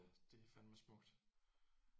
Ja det er fandeme smukt